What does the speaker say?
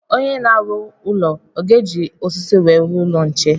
Onye na-arụ ụlọ ọ ga-eji osisi wee rụọ ụlọ nche?